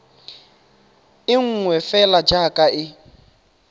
e nngwe fela jaaka e